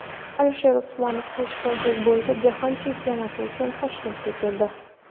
Alisher Usmonov qilichbozlik bo‘yicha jahon chempionati uchun Toshkentga keldi.